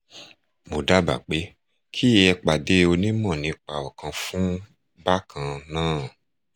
mo dábàá pé kí ẹ pàdé onímọ̀ nípa ọkàn fún bákan náà